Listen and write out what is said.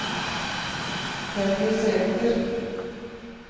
Henny Sæther